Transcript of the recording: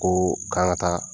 Koo k'an ka taa